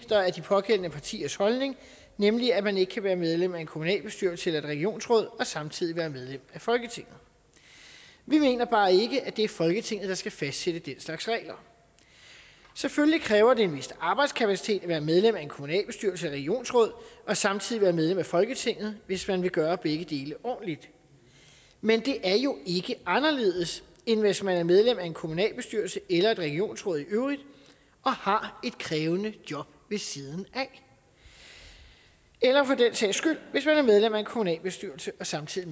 pågældende partiers holdning nemlig at man ikke kan være medlem af en kommunalbestyrelse eller et regionsråd og samtidig være medlem af folketinget vi mener bare ikke at det er folketinget der skal fastsætte den slags regler selvfølgelig kræver det en vis arbejdskapacitet at være medlem af en kommunalbestyrelse eller et regionsråd og samtidig være medlem af folketinget hvis man vil gøre begge dele ordentligt men det er jo ikke anderledes end hvis man er medlem af en kommunalbestyrelse eller et regionsråd og har et krævende job ved siden af eller for den sags skyld hvis man er medlem af en kommunalbestyrelse og samtidig